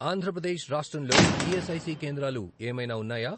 ఆంధ్ర ప్రదేశ్ రాష్ట్రంలో ఈఎస్ఐసి కేంద్రాలు ఏమైనా ఉన్నాయా?